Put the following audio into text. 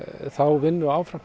þá vinnu áfram